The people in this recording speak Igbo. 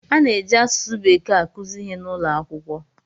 A na-eji asụsụ bekee akụzi ihe n'ụlọ akwụkwọ.